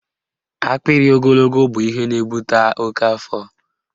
Akpịrị ogologo bụ ihe na-ebute oke afọ